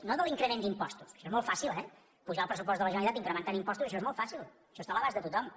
no de l’increment d’impostos que això és molt fàcil eh apujar el pressupost de la generalitat incrementant impostos això és molt fàcil això està a l’abast de tothom